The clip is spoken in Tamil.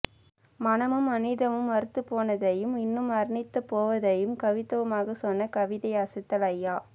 மனமும் மனிதமும் மரத்துப்போனதையும் இன்னும் மரணித்துப் போவாததையும் கவித்துவமாக சொன்ன கவிதை அசத்தல் அய்யா